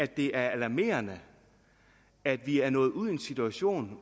det er alarmerende at vi er nået ud i den situation